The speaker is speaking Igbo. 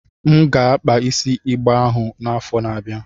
M ga-akpa isi igbe ahụ n'afọ na-abịa.